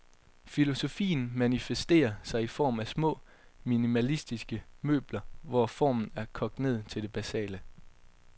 Filosofien manifesterer sig i form af små, minimalistiske møbler, hvor formen er kogt ned til det basale.